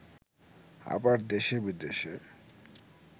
আবার দেশে বিদেশে